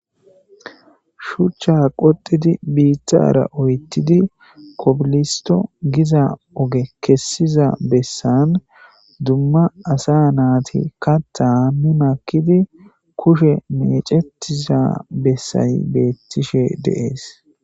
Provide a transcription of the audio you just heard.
Shuchcha qottidi bittara oyttidi kobilistti Giza oge kesiza bessan dumma assa na'ati katta Mii makiidi kushshen mecetiza bessay bettishshe de'ees